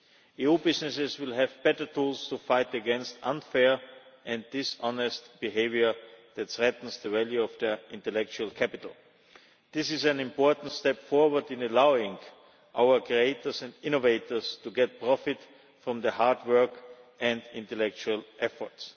EU businesses will have better tools to fight against unfair and dishonest behaviour that threatens the value of their intellectual capital. This is an important step forward in allowing our creators and innovators to get profit from their hard work and intellectual efforts.